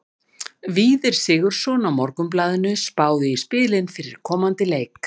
Víðir Sigurðsson á Morgunblaðinu spáði í spilin fyrir komandi leiki.